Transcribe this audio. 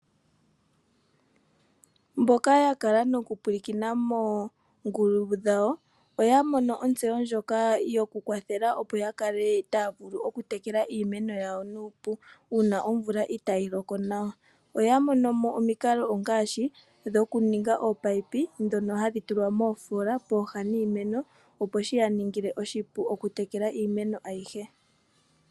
Mboka ya kala noku mpwilikina moongulu dhawo oya mono otseyo ndjoka yoku kwathela opo ya kale taa vulu oku tekela iimeno yawo nuupu una omvula itayi loko nawa. Oya mono mo omiikalo ngaashi dhoku ninga oopipe dhono hadhi tulwa moofola pooha niimeno opo shiya ningile oshipu oku tekela iimeno ayihe.